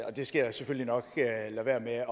og det skal jeg selvfølgelig nok lade være med at